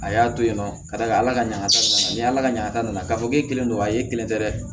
A y'a to yen nɔ ka d'a ka ala ka ɲasa ni ala ka ɲa k'a fɔ k'e kelen don a ye kelen tɛ dɛ